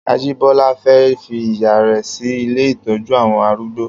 Ajibola fè fi ìyá rè si ilé itọjù awọn àrúgbó